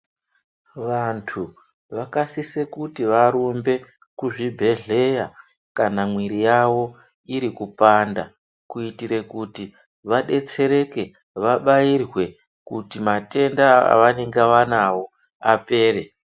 Vantu vakasise kuti varumbe kuzvibhehleya kana mwiri yavo iri kupanda kuitire kuti vadetsereke vabairwe kuti matenda avanenge vanawo apere.